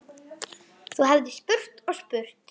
Þú hefðir spurt og spurt.